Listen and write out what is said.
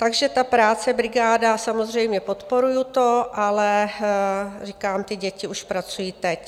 Takže ta práce, brigáda - samozřejmě, podporuji to, ale říkám, ty děti už pracují teď.